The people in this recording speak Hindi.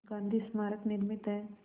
गांधी स्मारक निर्मित है